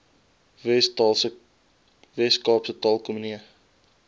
wes kaapse taalkomitee